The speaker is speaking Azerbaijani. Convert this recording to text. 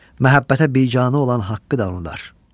Məhəbbətə biganə olan haqqı danırlar.